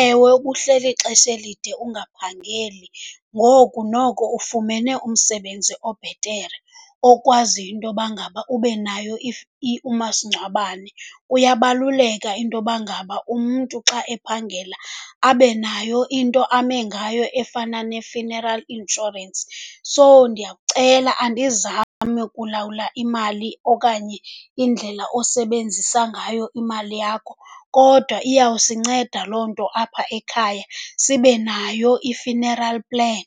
Ewe, ubuhleli ixesha elide ungaphangeli, ngoku noko ufumene umsebenzi obhetere okwaziyo intoba ngaba ube nayo umasingcwabane. Kuyabaluleka intoba ngaba umntu xa ephangela abe nayo into ame ngayo efana ne-funeral insurance. So ndiyakucela, andizami kulawula imali okanye indlela osebenzisa ngayo imali yakho kodwa iyawusinceda loo nto apha ekhaya, sibe nayo i-funeral plan.